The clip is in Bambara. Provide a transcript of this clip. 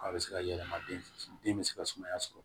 A bɛ se ka yɛlɛma den fɛ den bɛ se ka sumaya sɔrɔ